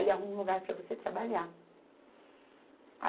Ele arruma um lugar para você trabalhar.